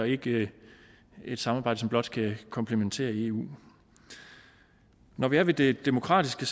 ikke et samarbejde som blot skal komplementere eu når vi er ved det demokratiske